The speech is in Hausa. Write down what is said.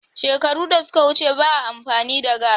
Shekaru da suka wuce ba a amfani da gass